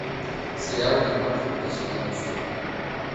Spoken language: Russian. сериал ведьмак две тысячи девятнадцатый год